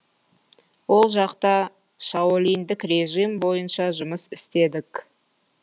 ол жақта шаолиньдік режим бойынша жұмыс істедік